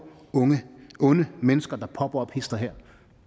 onde mennesker der popper op hist og her